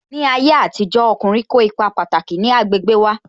Ní ayé àtijó, ọkùnrin kó ipa pataki ní agbègbè wa